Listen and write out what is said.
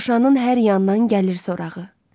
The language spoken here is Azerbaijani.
Şuşanın hər yandan gəlir sorağı.